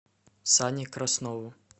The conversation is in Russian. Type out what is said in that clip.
сане краснову